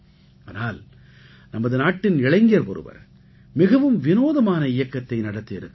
ஆனால் நமது நாட்டின் இளைஞர் ஒருவர் மிகவும் விநோதமான இயக்கத்தை நடத்தி இருக்கிறார்